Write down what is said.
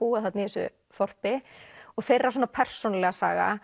búa þarna í þessu þorpi og þeirra svona persónulega saga